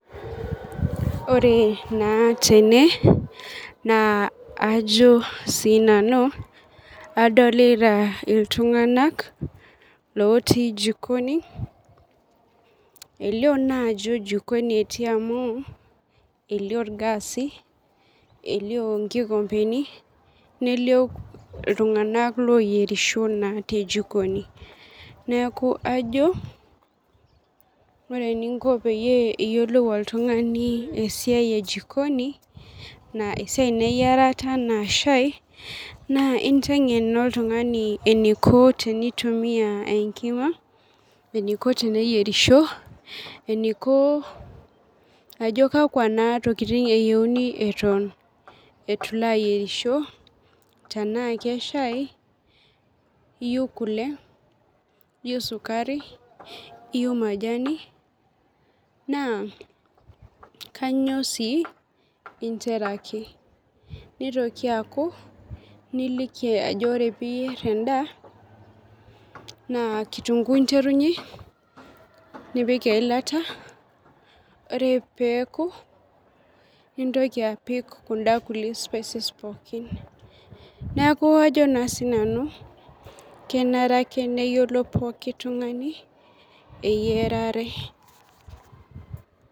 Ore naa tene, naa ajo sinanu, adolita iltung'anak lotii jikoni, elio naa ajo jikoni etii amu, elio irgaasi, elio inkikompeni, nelio iltung'anak loyierisho naa te jikoni. Neeku ajo, ore eninko peyie iyiolou oltung'ani esiai e jikoni, esiai eyiarata enaa shai, naa inteng'en naa oltung'ani eniko tenitumia enkima, eniko teneyierisho, eniko ajo kakwa naa tokiting eyieuni eton eitu ilo ayierisho, tenaa keshai iyieu kule, iyieu sukari, iyieu majani, naa kanyioo si interaki. Nitoki aku, niliki ajo ore piyier endaa, naa kitunkuu interunye, nipik eilata, ore peku, nintoki apik kunda kulie spices pookin. Neeku ajo naa sinanu, kenare ake neyiolo pooki tung'ani, eyiarare.